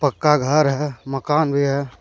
उसका घर है मकान भी है।